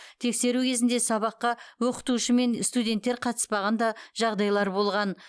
тексеру кезінде сабаққа оқытушы мен студенттер қатыспаған да жағдайлар болған